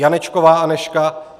Janečková Anežka